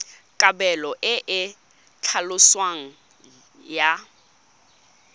kabelo e e tlhaloswang ya